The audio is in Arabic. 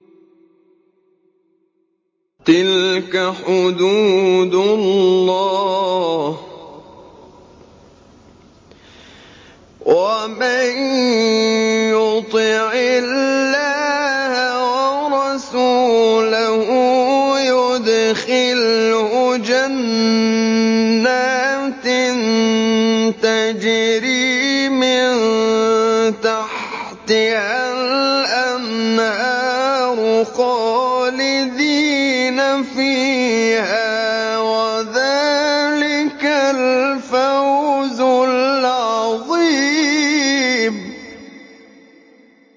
تِلْكَ حُدُودُ اللَّهِ ۚ وَمَن يُطِعِ اللَّهَ وَرَسُولَهُ يُدْخِلْهُ جَنَّاتٍ تَجْرِي مِن تَحْتِهَا الْأَنْهَارُ خَالِدِينَ فِيهَا ۚ وَذَٰلِكَ الْفَوْزُ الْعَظِيمُ